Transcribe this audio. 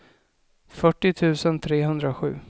fyrtio tusen trehundrasju